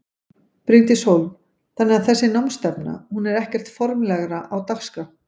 Bryndís Hólm: Þannig að þessi námsstefna hún er ekkert formlegra á dagskrá?